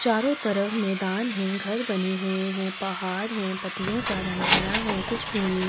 चारो तरफ मैदान है घर बने हुए है पहाड़ है पत्तियों का रंग हरा है कुछ भूमि --